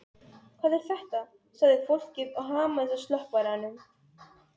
Hvað er þetta, sagði fólkið og hamaðist á slökkvaranum.